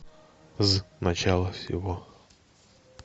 з начало всего